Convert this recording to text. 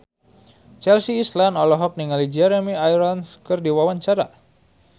Chelsea Islan olohok ningali Jeremy Irons keur diwawancara